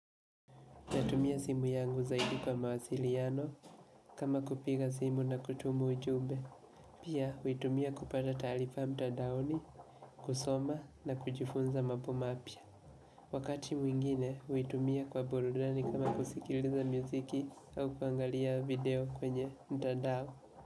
Natumia simu yangu zaidi kwa mawasiliano kama kupiga simu na kutuma ujumbe. Pia, huitumia kupata taarifa mtandaoni, kusoma na kujifunza mambo mapya. Wakati mwingine, huitumia kwa burudani kama kusikiliza muziki au kuangalia video kwenye mtandao.